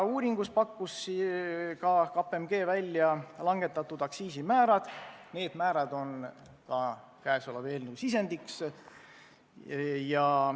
Uuringus pakkus KPMG välja langetatavad aktsiisimäärad, need on ka meie eelnõu sisendiks.